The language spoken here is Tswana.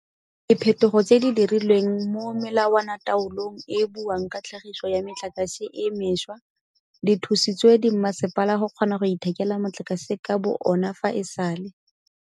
Diphetogo tse di dirilweng mo melawanataolong e e buang ka tlhagiso ya metlakase e mešwa di thusitse dimasepala go kgona go ithekela motlakase ka bo ona fa e sale.